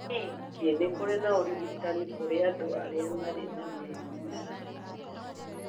Ningĩ nĩ kũrĩ na ũrigitani kũrĩ andũ arĩa marĩ na mĩrimũ ya meciria